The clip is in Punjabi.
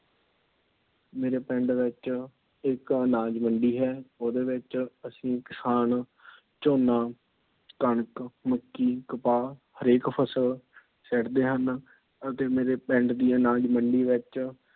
ਮੇਰੇ ਪਿੰਡ ਵਿੱਚ ਇੱਕ ਅਨਾਜ ਮੰਡੀ ਹੈ। ਉਹਦੇ ਵਿੱਚ ਅਸੀਂ ਕਿਸਾਨ ਝੋਨਾ, ਕਣਕ, ਮੱਕੀ, ਕਪਾਹ ਹਰੇਕ ਫ਼ਸਲ ਸੁੱਟਦੇ ਹਨ। ਅਤੇ ਮੇਰੇ ਪਿੰਡ ਦੀ ਅਨਾਜ ਮੰਡੀ ਵਿੱਚ